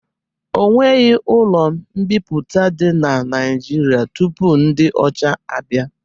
Ọnweghi ụlo mbiputa di na naijiria tụpụ ndi ọcha abia